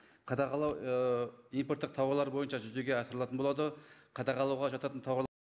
қадағалау ыыы импорттық тауарлар бойынша жүзеге асырылатын болады қадағалауға жататын